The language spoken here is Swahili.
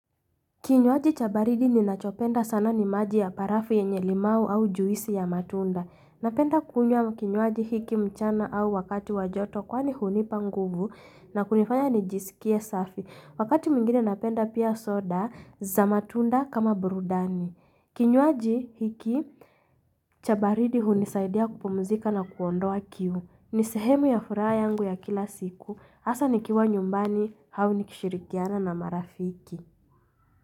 Kinyuaji chabaridi ninachopenda sana ni maji ya barafu yenye limau au juisi ya matunda. Napenda kunywa kinyuaji hiki mchana au wakati wajoto kwani hunipa nguvu na kunifanya nijisikie safi. Wakati mwingine napenda pia soda za matunda kama burudani. Kinyuaji hiki chabaridi hunisaidia kupumzika na kuondoa kiu. Ni sehemu ya furaha yangu ya kila siku. Asa nikiwa nyumbani au nikishirikiana na marafiki.